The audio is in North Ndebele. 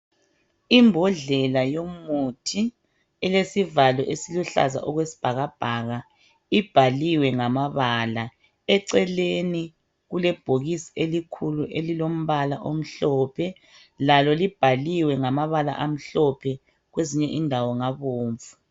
Imbodlela yomuthi elesivalo esiluhlaza okwesibhakabhaka ibhaliwe ngamabala .Eceleni kule bhokisi elikhulu elilombala omhlophe lalolibhaliwe ngamabala amhlophe kwezinye indawo ngabomvu .